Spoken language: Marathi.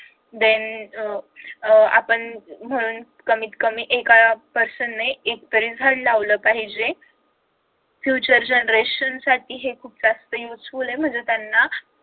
then आपण कमीत कमी एका person ने एक तरी झाड लावल पाहिजे future generation हे खूप जास्त useful आहे म्हणजे त्यांना